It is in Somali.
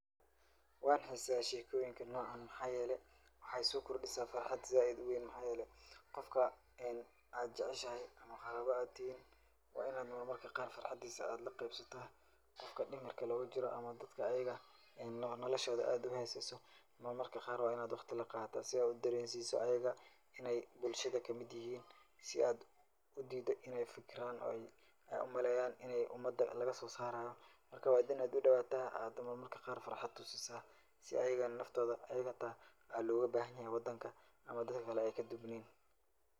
Waan hiiseyaa sheekooyinka noocan maxaa yeelay waxaay soo kordhisaa farxad zaaid u weyn. Maxaa yeelay qofka aad jacashahay ama qaraaba aad tihiin waa in aad marmarka qaar farxadiisa aad la qiibsata. Qofka dimirka loogu jiro ama dadka ayiga oo noolashooda aad u hoosayso marmarka qaar waa in aad wakhti la qaadataa si aad u dareensiiso ayiga inay bulshada ka mid yihiin. Si aad u diido in ay fikiraan oo ay ay u maleeyaan laga soo saarayo. Marka, waa in aad u dhowaata aad marmarka qaar farxad tusisa si ayigana naftooda ayiga hata ay loogu baahan yahay wadanka ama dadka kale ay ka duwaneyn.